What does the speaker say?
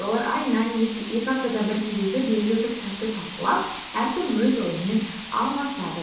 олар айына немесе екі аптада бір кездесіп белгілі бір кітапты талқылап әркім өз ойымен алмасады